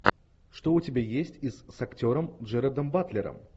что у тебя есть из с актером джерардом батлером